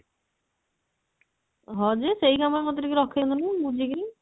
ହଁ ଯେ ସେଇ କାମ ରେ ମୋତେ ଟିକେ ରଖେଇ ଦଉନୁ ବୁଝିକିରି